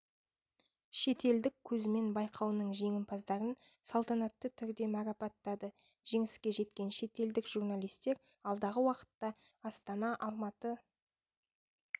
шетелдік көзімен байқауының жеңімпаздарын салтанатты түрде марапаттады жеңіске жеткен шетелдік журналистер алдағы уақытта астана алматы